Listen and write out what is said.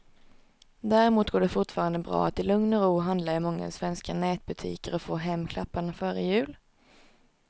Däremot går det fortfarande bra att i lugn och ro handla i många svenska nätbutiker och få hem klapparna före jul.